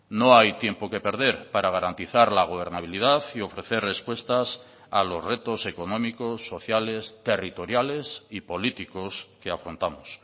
no hay tiempo que perder para garantizar la gobernabilidad y ofrecer respuestas a los retos económicos sociales territoriales y políticos que afrontamos